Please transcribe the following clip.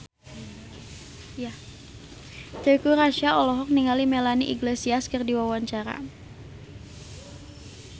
Teuku Rassya olohok ningali Melanie Iglesias keur diwawancara